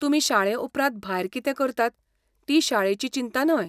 तुमी शाळेउपरांत भायर कितें करतात ती शाळेची चिंता न्हय.